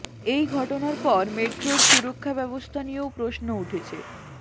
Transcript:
এই ঘটনার পর মেট্রোর সুরক্ষা ব্যবস্থা নিয়েও প্রশ্ন উঠেছে